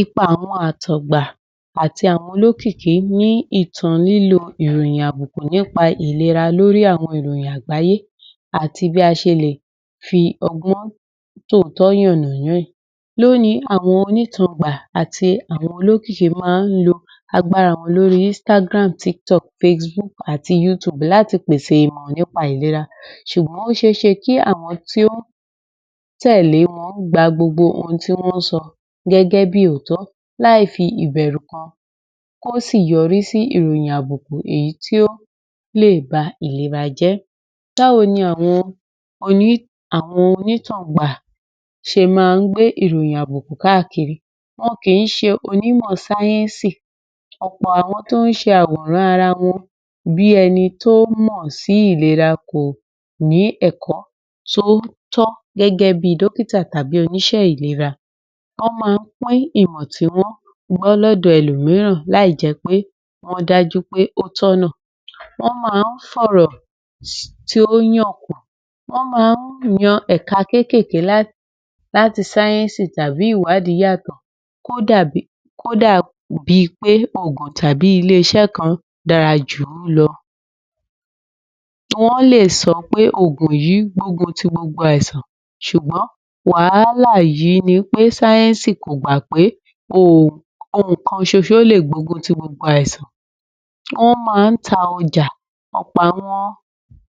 Ipa àwọn àtọ̀gbà àti àwọn olókìkí ní ìtan lílo ìròyìn àbùkùn nípa ìlera lórí àwọn ìròyìn àgbáyé àti bí a ṣe lè fi ọgbọ́n tòótọ́ yàn-nà-ná ẹ̀. Lónìí, àwọn onítàngbà àti àwọn olókìkí máa ń lo agbára wọn lórí (Instagram, TikTok, Facebook àti Youtube) láti pèsè ìmọ̀ nípa ìlera ṣùgbọ́n ó ṣe ẹ́ ṣe kí àwọn tí ó ń tẹ̀lé wọn gba gbogbo ohun tí wọ́n ń sọ gẹ́gẹ́ bí òótọ́ láì fi ìbẹ̀rù kan hàn, kó sì yọrí sí iròyìn àbùkùn èyí tí ó lè ba ìlera jẹ́. Báwo ni àwọn onítàngbà ṣe máa ń gbé ìròyìn àbùkùn káàkiri, wọn kì í ṣe onímọ̀ sáyẹ́nsì, ọ̀pọ̀ àwọn tó ń ṣe àwòrán ara wọn bí ẹni tó mọ̀ sí ìlera kò ní ẹ̀kọ́ tó tọ́ gẹ́gẹ́ bí dókítà tàbí oníṣẹ́ ìlera, wọ́n máa ń pín ìmọ̀ tí wọ́n gbọ́ lọ́dọ̀ ẹlòmíràn láì jẹ́ pé wọ́n dájú pé ó tọ̀nà, wọ́n máa ń fọ̀rọ̀ tí ó yàn, wọ́n máa ń yan ẹ̀ka kékèké láti sáyẹ́nsì tàbí ìwádìí yàtọ̀ kódà bi pé ògùn tàbí ilé iṣẹ́ kan dára jù wọ́n lọ, wọ́n lè sọ pé ògùn yí ń gbógun ti gbogbo àìsàn ṣùgbọ́n wàhálà yí ni pé sáyẹ́nsì kò gba pé òògùn kan ṣoṣo lè gbógun ti gbogbo àìsàn. Wọ́n máa ń ta ọjà ọ̀pọ̀ àwọn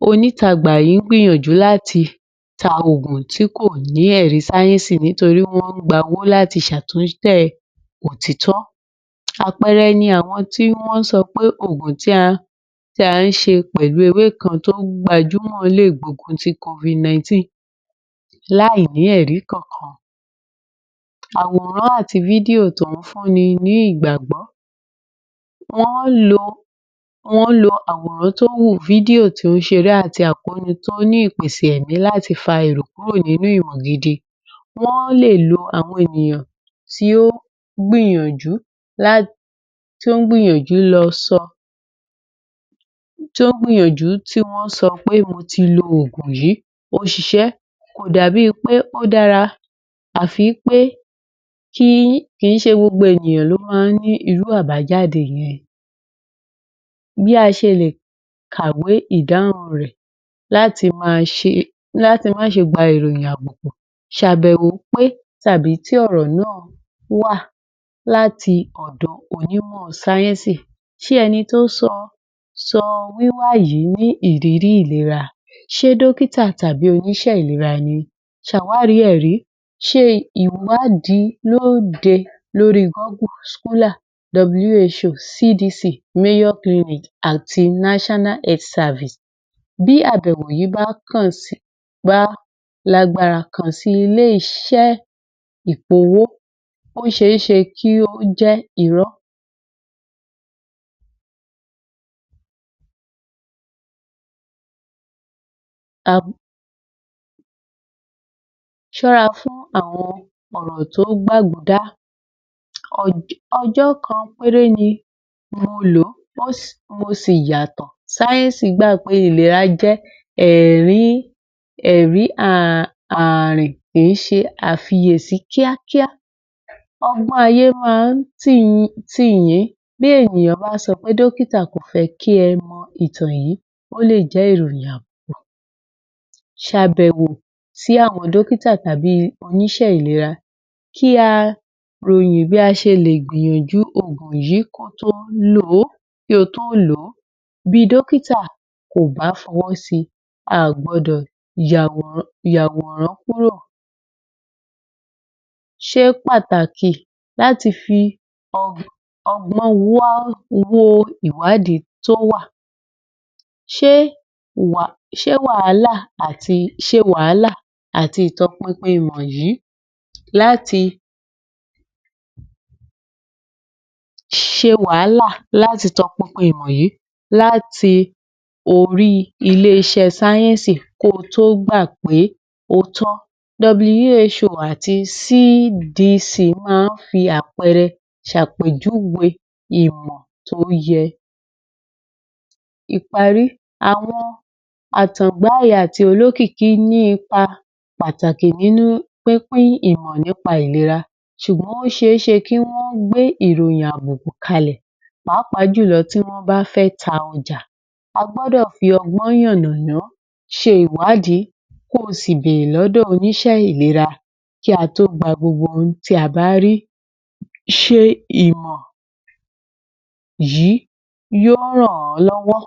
onítàngbà yí ń gbìyànjú láti ta ògùn tí kò ní èrí sáyẹ́nsì nítorí wọ́n ń gba owó láti ṣàtúnfẹ̀ òtítọ́. Àpẹẹrẹ ni àwọn tí wọ́n sọ pé ògùn tí a ń ṣe pẹ̀lú ewé kan tó gbajúmọ̀ lé gbógun ti (Covid-19) láì ní èrí kan kan. Àwòran àti tó ń fún ni ní ìgbàgbọ́, wọ́n lo, wọ́n lo àwòràn tó wù, tó ṣe é rí àti àpónú tó ní ìpèsè èrí láti fa èrò kúrò nínú ìmọ̀ gidi, wọ́n lè lo àwọn ènìyàn tí ó ń gbìyànjú, tí ó gbìyànjú lọ sọ, tí ó ń gbìyànjú tí wọ́n sọ pé mo ti lo ògùn yí, ó ṣiṣẹ́, kò dàbí pé ó dára àfi wí pé kì í ṣe gbogbo ènìyàn ló máa ń ní irú àbájáde yẹn. Bí a ṣe lè kàwé ìdáhọ̀n rẹ̀ láti má ṣe gba ìròyìn àbùkùn, ṣabẹ̀wò pé tàbí tí ọ̀rọ̀ náà wá láti ọ̀dọ̀ onímọ̀ sáyẹ́nsì, ṣé ẹni tó sọ ní ìrírí ìlera?, ṣe dókítà tàbí oníṣẹ́ ìlera ni?, ṣàwárí ẹ̀ rí, ṣe ìwádìí lóde lórí (Goggle, Solar, W.H.O, C.D.C, Mayor Clinics àti National Health Service), bí àbẹ̀wò yí bá kàn sí, bá lágbára, kàn sí ilé iṣé ìfowó, ó ṣe é ṣe kó jẹ́ irọ́. Ṣóra fún àwọn ọ̀rọ̀ tó gbágudá, ọjọ́ kan péré ni mo lò, mo sì ya yàtọ̀, sáyẹ́nsì gbà pé ìlera jẹ́ èrí ààrì kì í ṣe àfiyèsi kíákíá, ọgbọ́n ayé máa ń tì yín, bí ènìyàn bá sọ pé dókítà kò fẹ́ kí ẹ mọ ìtàn yí, ó lè jẹ́ ìròyìn àbùkùn, ṣabẹ̀wò sí àwọn dókítà tàbí oníṣé ìlera, kí a ròyìn bí a ṣe lè gbìyànjú ògùn yí kí o tó lò ó, bí dókítà kò bá fọwọ́ si, a à gbọdọ̀ yàwòrán kúrò. ṣe pàtàkì láti fi ọgbọ́n wá wo ìwádìí tó wá, ṣe wàhálà àti ìtọpinpin wọ̀nyí láti, ṣe wàhálà làti ìtọpinpin wọ̀nyí láti orí ilé iṣẹ́ sáyẹ́nsì ko tó gbà pé ó tọ́, (W.H.O àti C.D.C) máa ń fi àpẹẹrẹ ṣàpèjúwe ìmọ̀ tó yẹ. Ìpàrí, àwọn àtàngbá yí àti olókìkí ní ipa pàtàkì nínú pínpín ìmọ̀ nípa ìlera ṣùgbọ́n ó ṣe é ṣe kí wọ́n gbé ìròyìn àbùkùn kalẹ̀ pàápàá jùlọ tí wọ́n bá fẹ́ ta ọjà, a gbọ́dọ̀ fi ọgbọ́n yàn-nà-ná ṣe ìwádìí, kó sì bèrè lọ́dọ̀ oníṣẹ́ ìlera kí a tó gba gbogbo ohun tí a bá rí, ṣe ìmọ̀ yí yó ràn-án lọ́wọ́.